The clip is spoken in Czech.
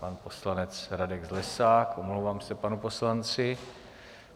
Pan poslanec Radek Zlesák, omlouvám se panu poslanci.